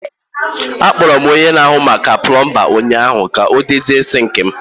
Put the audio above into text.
Akpọrọ m onye na-ahụ maka pọmbin ụnyaahụ ka m dozie sinki m.